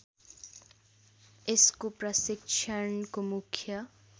यसको प्रशिक्षणको मुख्य